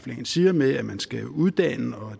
jensen siger med at man skal uddanne og